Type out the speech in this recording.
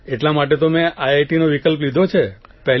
એટલા માટે તો મેં આઇટીનો વિકલ્પ લીધો છે